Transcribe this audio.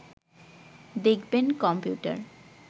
দেখবেন কম্পিউটার